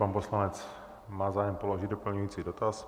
Pan poslanec má zájem položit doplňující dotaz.